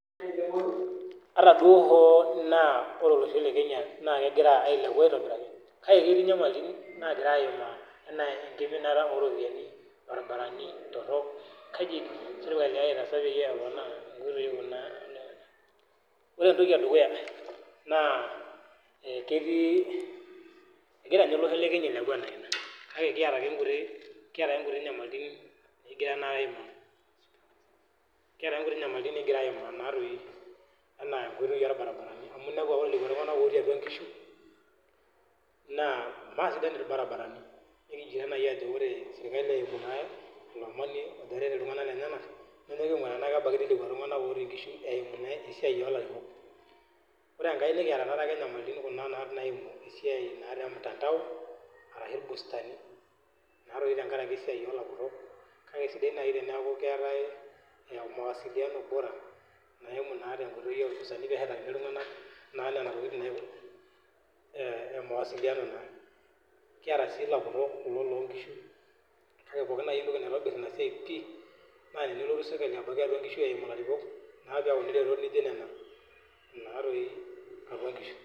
Ata hoo duo naa kore olosho le kenya naa kegira ailepu aitobiraki kake ketii nyamalitin nagirae aimaa naadoi anaa koitoi orbaribarani, amu inepu ake lekua tungana otii atua nkishu, naa maasidai irbarabarani kigira naaji ajo ore teneret iltungana lenyena nepuo ainguraa tenaa kebaikini lekua tungana otii atua nkishu eimu ninye esiai olarikok. Ore enkae nikiata tokitin kuna naimu esiai mtandao ashu boosteni naatoi te nkaraki esiai olapurok kake esidai naaji teniaku keetae mawasiliano bora naimu naa echoto o boosterni pee esheti iltungana nena tokitin naa e mawasiliano naa kiata si lapurok kulo loo nkishu kake ore naaji etoki naitobir ina siai naa telotu serkali atua nkishu eimu ilarikok pee etum tokitin najio nena apik atua nkishu. Anaa ekiminata oropiyiani, irbarabarani torok kaji sa naaji iidim sirkali pee eponaa esiai orbarabarani. Ore etoki edukuya naa ketii, egira ninye olosho le kenya ailepu anaa ina kake kiata ake kiata kuti nyamalitin nikigira naake aimaa, kiata ake kuti nyamalitin nikigira aimaa naadoi